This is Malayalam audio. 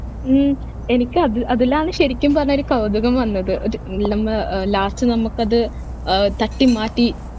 ഉം എനിക്ക് അത് അതിലാണ് ശെരിക്കും പറഞ്ഞാൽ ഒരു കൗതുകം വന്നത് ഒരു last നമുക്ക് അത് ഏർ തട്ടി മാറ്റി